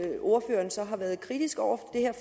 ordføreren så har været kritisk over